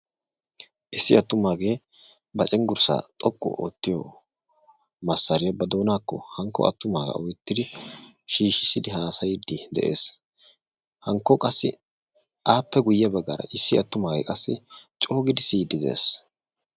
Issi attumaagee ba cenggurssaa xoqqu oottiyo massaariya ba doonaakko hankko attumaagaa oyttidi shiishshidi haasayiiddi de'ees. Hankko qassi appe guyye baggaara issi attumaagee qassi coo giidi siyiiddi de'ees.